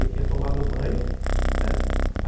Eu tinha tomado banho, né?